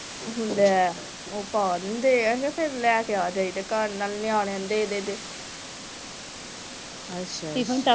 ਲੈ ਉਹ ਪਾ ਦਿੰਦੇ ਆ ਕੇ ਫਿਰ ਲੈ ਕੇ ਆ ਜਾਈਦੇ ਘਰ ਨਾਲੇ ਨਿਆਣਿਆਂ ਨੂੰ ਦੇ ਦੇਈ ਦੇ